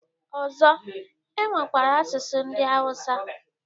Ọzọ, e nwekwara asụsụ ndị awụsa